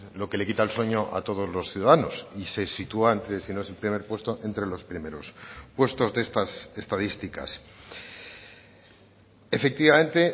lo que le quita el sueño a todos los ciudadanos y se sitúa entre si no es el primer puesto entre los primeros puestos de estas estadísticas efectivamente